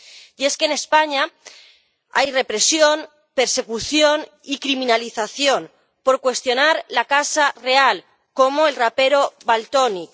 Y es que en España hay represión, persecución y criminalización por cuestionar la Casa Real, como el rapero Valtonyc